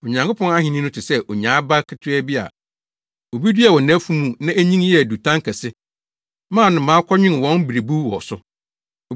Onyankopɔn ahenni no te sɛ onyaa aba ketewa bi a obi duaa wɔ nʼafuw mu na enyin yɛɛ dutan kɛse maa nnomaa kɔnwen wɔn mmerebuw wɔ so.”